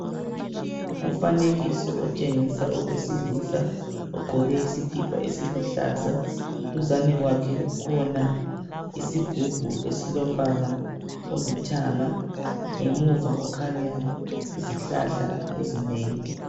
Umfanekiso otshengisa owesilisa ogqoke isikhipha esiluhlaza. Duzane kwakhe kukhona isigubhu esilombala olithanga ngemuva kukhanya izihlahla ezinengi.